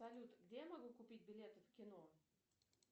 салют где я могу купить билеты в кино